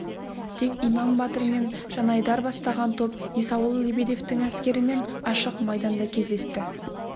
тек иман батыр мен жанайдар бастаған топ есауыл лебедевтің әскерімен ашық майданда кездесті